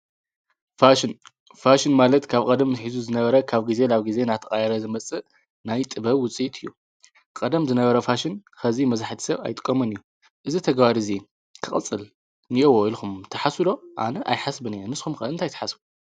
ንፋሽን ማለት ካብ ቀደም ኂዙ ዝነበረ ካብ ጊዜ ላብ ጊዜ ናቲ ቓይረ ዝመጽእ ናይ ጥበብ ውፂት እዩ ቀደም ዝነበረ ፋሽን ኸዚ መዝሕት ሰብ ኣይጥቆመን እዩ እዝ ተገባድእዙይ ክቕጽል ንያዎ ኢልኹም ተሓሱዶ ኣነ ኣይሓስብን እየ ንስኩም ከእንቲ ኣይትሓስቡ።